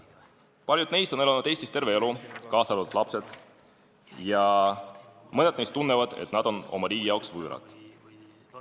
Paljud neist on elanud Eestis terve elu ja nende lapsed samuti, ja mõned neist tunnevad, et nad on oma riigi jaoks võõrad.